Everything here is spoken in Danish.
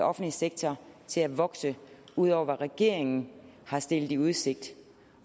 offentlige sektor til at vokse ud over hvad regeringen har stillet i udsigt